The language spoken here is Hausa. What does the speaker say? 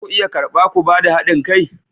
Za ku iya karba ku ba da hadin kai?